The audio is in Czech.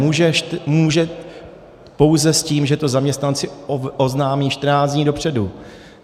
Může pouze s tím, že to zaměstnanci oznámí 14 dní dopředu.